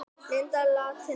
Linda látin laus